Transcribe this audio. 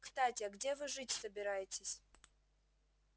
кстати а где вы жить собираетесь